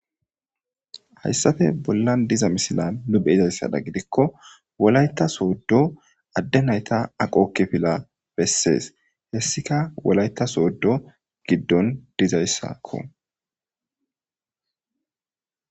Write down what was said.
Haysappe bollan diza misila nu beyizaysa gidiko wolayta soodo adde nayta aqo kifile besees. Hessika wolayta soodo giddon dizaysako.